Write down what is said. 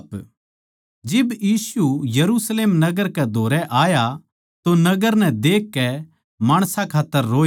जिब यीशु यरुशलेम नगर कै धोरै आया तो नगर नै देखकै माणसां खात्तर रोया